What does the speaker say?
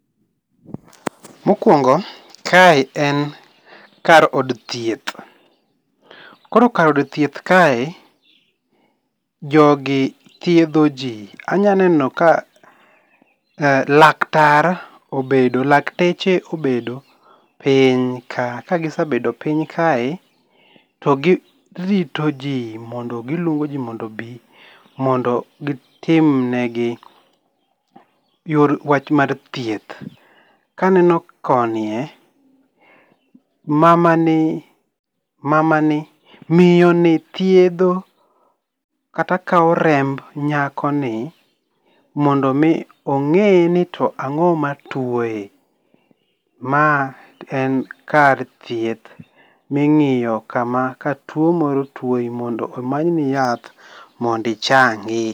Mokuongo kae en kar od thieth .Koro kar od thieth kae jogi thiedho jii. Anyaneno ka laktar obedo ,lakteche obedo piny kae ka gisebedo piny kae to gi rito ji gi luongi jii mondo gi timnegi wach mar thieth. Ka aneno koni e, mamani mamani ,miyo ni thiedho kata kao remb nyakoni mondo mi ong'eni to ang'o matuoye. Ma en kar thieth mi ng'iyo kama ka tuo moro tuoyi mondo omanyni yath mondo ichangi.